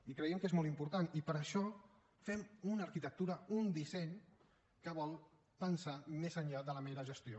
i creiem que és molt important i per això fem una arquitectura un disseny que vol pensar més enllà de la mera gestió